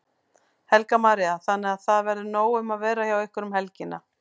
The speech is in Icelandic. Helga María: Þannig að það verður nóg um að vera hjá ykkur um helgina?